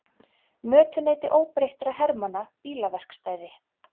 Mötuneyti óbreyttra hermanna bílaverkstæði.